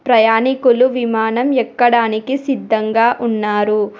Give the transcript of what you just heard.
ప్రయాణికులు విమానం ఎక్కడానికి సిద్ధంగా ఉన్నారు.